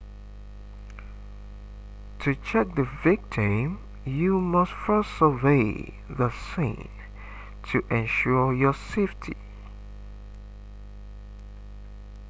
to check the victim you must first survey the scene to ensure your safety